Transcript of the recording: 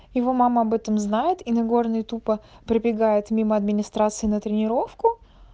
его мама об этом знает и нагорный тупо пробегает мимо администрации на тренировку